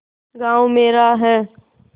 गॉँव मेरा है